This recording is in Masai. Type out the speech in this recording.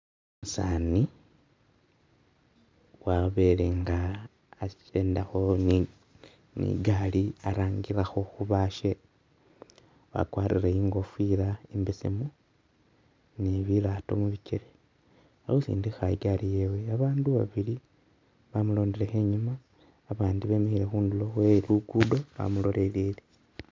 Umusaani, wabele nga a'kendakho ni gari arangilakho khubashe wakwarire i'ngofila i'mbesemu ni bilaato mu bikeele, ali khusindikha i'gali yewe, babandu babili bamulondelekho e'nyuma, abandi bemele khundulo khwe'lukudo bamulolele